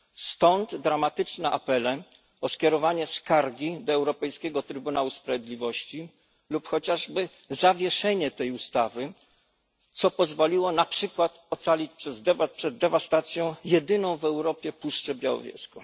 Stąd dramatyczne apele o skierowanie skargi do Europejskiego Trybunału Sprawiedliwości lub chociażby zawieszenie tej ustawy, co pozwoliło na przykład ocalić przed dewastacją jedyną w Europie Puszczę Białowieską.